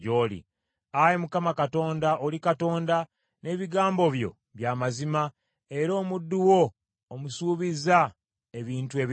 Ayi Mukama Katonda, oli Katonda, n’ebigambo byo bya mazima, era omuddu wo omusuubizza ebintu ebirungi.